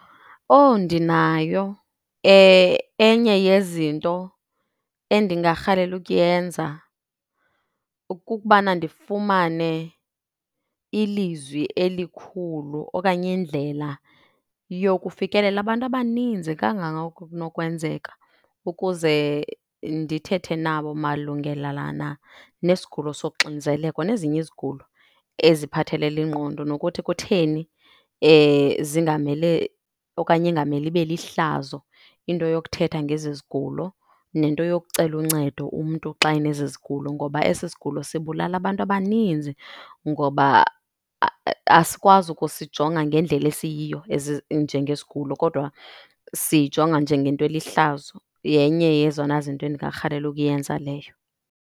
Owu, ndinayo. Enye yezinto endingarhalela ukuyenza kukubana ndifumane ilizwi elikhulu okanye indlela yokufikelela abantu abaninzi kangangoko kunokwenzeka ukuze ndithethe nabo malungelelana nesigulo soxinzelelo nezinye izigulo eziphathelele ingqondo, nokuthi kutheni zingamele okanye ingamele ibe lihlazo into yokuthetha ngezi zigulo nento yokucela uncedo umntu xa enezi zigulo. Ngoba esi sigulo sibulala abantu abaninzi ngoba asikwazi ukusijonga ngendlela esiyiyo as njengesigulo kodwa siyijonga njengento elihlazo. Yenye yezona zinto endingarhalela ukuyenza leyo.